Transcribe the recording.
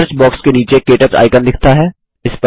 search box के नीचे क्टच आइकन दिखता है